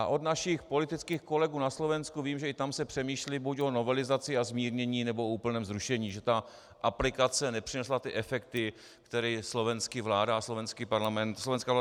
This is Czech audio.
A od našich politických kolegů na Slovensku vím, že i tam se přemýšlí buď o novelizaci a zmírnění, nebo o úplném zrušení, že ta aplikace nepřinesla ty efekty, které slovenská vláda a slovenský Parlament přinášely.